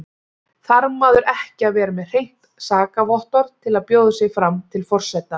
Þarf maður ekki að vera með hreint sakavottorð til að bjóða sig fram til forseta?